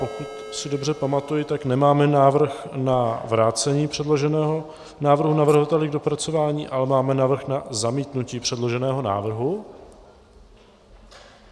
Pokud si dobře pamatuji, tak nemáme návrh na vrácení předloženého návrhu navrhovateli k dopracování, ale máme návrh na zamítnutí předloženého návrhu.